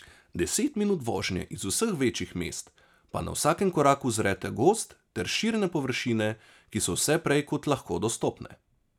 Deset minut vožnje iz vseh največjih mest, pa na vsakem koraku uzrete gozd ter širne površine, ki so vse prej kot lahko dostopne.